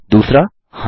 2हाँ